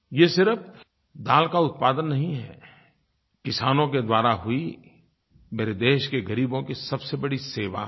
ये सिर्फ दाल का उत्पादन नहीं है किसानों के द्वारा हुई मेरे देश के ग़रीबों की सबसे बड़ी सेवा है